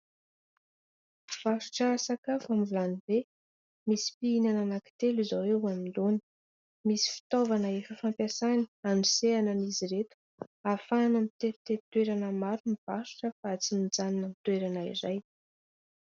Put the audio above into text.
Mpivarotra sakafo amin'ny vilany be. Misy mpihinana anankitelo izao eo anoloany. Misy fitaovana efa fampiasany hanosehana an'izy ireto, ahafahana mitetitety toerana maro mivarotra fa tsy mijanona amin'ny toerana iray.